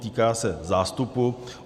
Týká se zástupu.